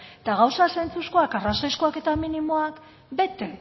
eta gauza zentzuzkoak arrazoizkoak eta minimoak bete